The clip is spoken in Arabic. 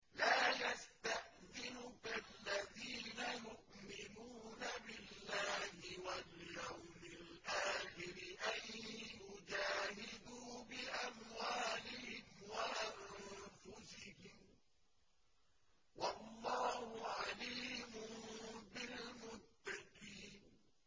لَا يَسْتَأْذِنُكَ الَّذِينَ يُؤْمِنُونَ بِاللَّهِ وَالْيَوْمِ الْآخِرِ أَن يُجَاهِدُوا بِأَمْوَالِهِمْ وَأَنفُسِهِمْ ۗ وَاللَّهُ عَلِيمٌ بِالْمُتَّقِينَ